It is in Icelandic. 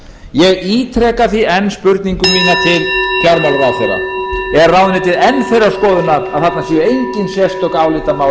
ég ítreka því enn spurningu mína til fjármálaráðherra er ráðuneytið enn þeirrar skoðunar